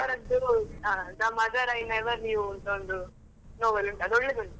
ಅವರದ್ದು ಆ The Mother I Never Knew ಅಂತ ಒಂದ್ novel ಉಂಟು, ಅದು ಒಳ್ಳೆದುಂಟು.